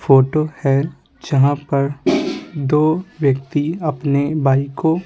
photo है जहाँ पर दो व्यक्ति अपने बाइक को--